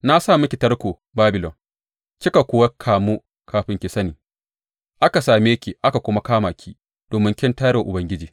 Na sa miki tarko, Babilon, kika kuwa kamu kafin ki sani; aka same ki aka kuma kama ki domin kin tayar wa Ubangiji.